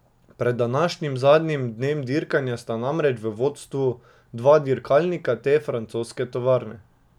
Pred današnjim zadnjim dnem dirkanja sta namreč v vodstvu dva dirkalnika te francoske tovarne.